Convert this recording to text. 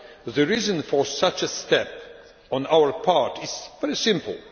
The reason for such a step on our part is very simple.